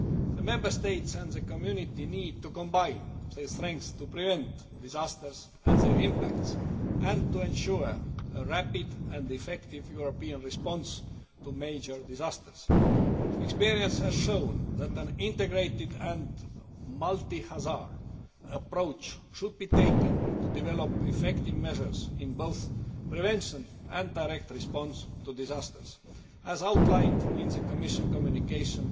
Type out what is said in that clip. The Member States and the Community need to combine their strength to prevent disasters and their impacts and to ensure a rapid and effective European response to major disasters. Experience has shown that an integrated and multi hazard approach should be taken to develop effective measures in both in prevention and in direct response to disasters, as outlined in the Commission communication